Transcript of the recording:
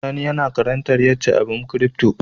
Sani yAna karantar yace abun crypto yake